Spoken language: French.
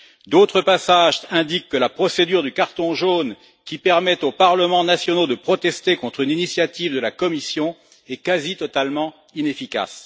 D'autres passages indiquent que la procédure du carton jaune, qui permet aux parlements nationaux de protester contre une initiative de la Commission, est presque entièrement inefficace.